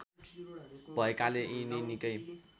भएकाले यिनी निकै